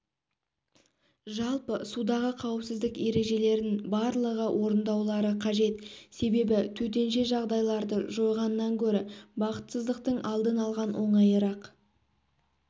жалпы судағы қауіпсіздік ережелерін барлығы орындаулары қажет себебі төтенше жағдайларды жойғаннан гөрі бақытсыздықтың алдын алған оңайырақ